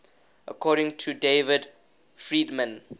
according to david friedman